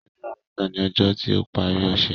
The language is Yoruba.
Ọjọ́ àbámẹ̀ta ni ọjọ́ tí ó parí ọ̀ṣẹ̀